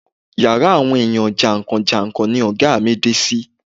Yàrá àwọn ènìyàn jàǹkàn jàǹkàn ni ọ̀gá mi dé sí.